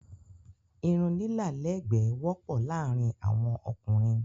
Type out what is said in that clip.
Irun lilá lẹ́ẹ̀gbẹ́ wọ́pọ̀ láàrin awọn ókúnrin